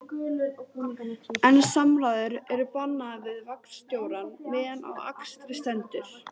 En samræður eru bannaðar við vagnstjórann meðan á akstri stendur